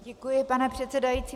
Děkuji, pane předsedající.